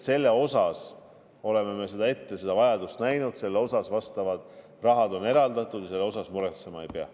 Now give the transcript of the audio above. Me oleme seda vajadust ette näinud, selle kohta vastav raha on eraldatud ja selle üle muretsema ei pea.